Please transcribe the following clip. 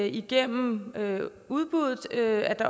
igennem udbuddet